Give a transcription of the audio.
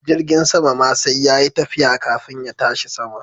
Jirgin sama ma sai yayi tafiya kafin ya tashi sama.